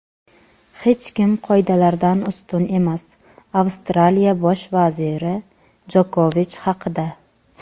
Hech kim qoidalardan ustun emas – Avstraliya Bosh vaziri Jokovich haqida.